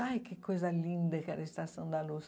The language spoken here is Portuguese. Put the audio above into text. Ai, que coisa linda que era a Estação da Luz.